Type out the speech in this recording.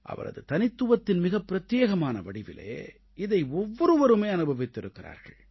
அவரது தனித்துவத்தின் மிக பிரத்யேகமான வடிவிலே இதை ஒவ்வொருவருமே அனுபவித்திருக்கிறார்கள்